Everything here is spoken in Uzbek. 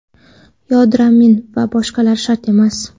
yodomarin va boshqalar shart emas.